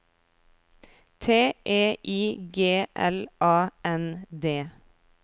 T E I G L A N D